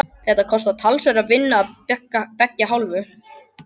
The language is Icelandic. Þetta kostar talsverða vinnu af beggja hálfu.